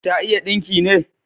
Ta iya dinki ne?